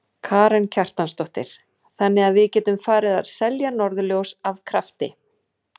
Karen Kjartansdóttir: Þannig að við getum farið að selja norðurljós af krafti?